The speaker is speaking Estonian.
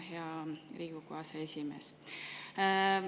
Hea Riigikogu aseesimees!